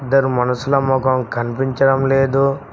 ఇద్దరు మనుసుల ముఖం కనిపించడం లేదు.